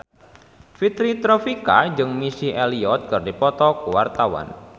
Fitri Tropika jeung Missy Elliott keur dipoto ku wartawan